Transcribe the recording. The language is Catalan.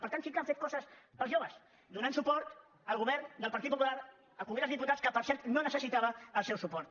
per tant sí que han fet coses per als joves donant suport al govern del partit popular al congrés dels diputats que per cert no necessitava el seu suport